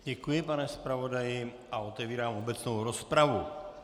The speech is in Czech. Děkuji, pane zpravodaji, a otevírám obecnou rozpravu.